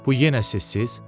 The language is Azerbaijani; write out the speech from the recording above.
Bu yenə səssiz?